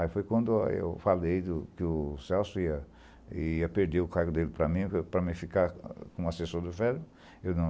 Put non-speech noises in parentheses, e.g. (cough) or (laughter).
Aí foi quando eu falei que o Celso ia ia perder o cargo dele para mim, para mim ficar como assessor do, (unintelligible) ele não